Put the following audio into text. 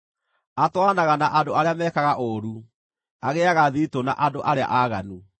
Atwaranaga na andũ arĩa mekaga ũũru; agĩĩaga thiritũ na andũ arĩa aaganu.